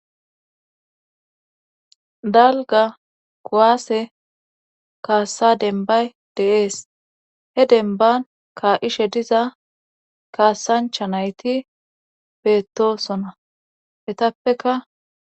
Dalgga kuwaase kaassa denbay de'ees he denban kaa'ishshe diza kaasancha nayti beettosona hetappeka